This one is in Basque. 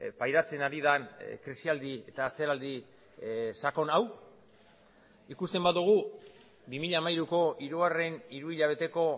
pairatzen ari den krisialdi eta atzeraldi sakon hau ikusten badugu bi mila hamairuko hirugarren hiruhilabeteko